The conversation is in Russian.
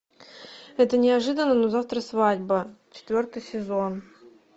это неожиданно но завтра свадьба четвертый сезон